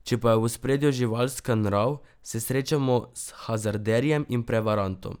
Če pa je v ospredju živalska nrav, se srečamo s hazarderjem in prevarantom.